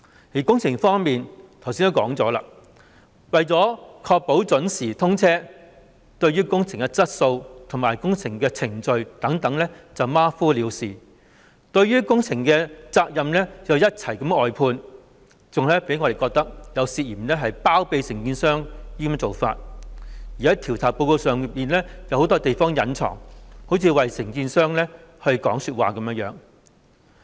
在工程方面，我剛才也說過，為確保準時通車，對於工程的質素和程序等馬虎了事，把工程的責任也一併外判，更令我們感到有包庇承建商之嫌，在調查報告中有很多地方故意隱瞞，好像為承建商說詞一樣。